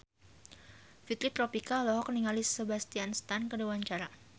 Fitri Tropika olohok ningali Sebastian Stan keur diwawancara